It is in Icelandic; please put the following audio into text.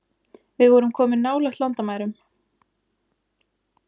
Við vorum komin nálægt landamærum